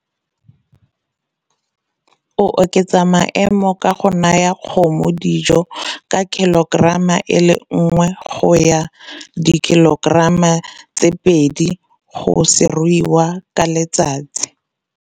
O oketsa maemo a go naya kgomo dijo ka kilogerama e le nngwe go ya dikilogerama tse pedi go seruiwa ka letsatsi.